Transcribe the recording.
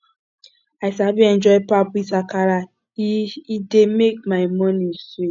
i sabi enjoy pap with akara e e dey make my morning sweet